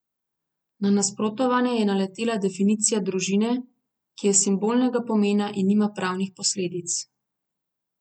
Na nasprotovanje je naletela definicija družine, ki je simbolnega pomena in nima pravnih posledic.